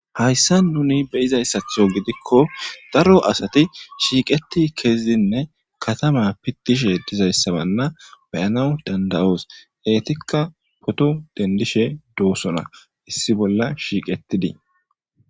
Hayssan nuni beizayssatho giidikko daaro asati shiiqeti kezzidinne kattama piitishe diizayssana be'anawu dand'osu eetika pooto dendishe doosona issi bolla shiqqetidi.